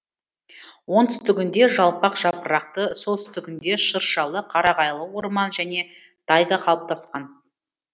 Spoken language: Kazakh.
оңтүстігінде жалпақ жапырақты солтүстігінде шыршалы қарағайлы орман және тайга қалыптасқан